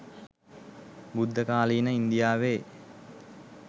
බුද්ධකාලීන ඉන්දියාවේ